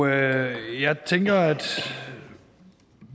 jeg tænker at